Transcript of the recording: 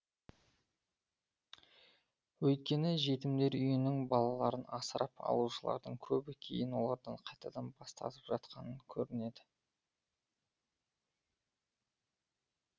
өйткені жетімдер үйінің балаларын асырап алушылардың көбі кейін олардан қайтадан бас тартып жатқан көрінеді